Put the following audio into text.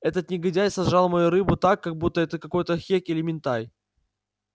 этот негодяй сожрал мою рыбу так как будто это какой-то хек или минтай